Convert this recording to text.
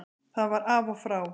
Það var af og frá.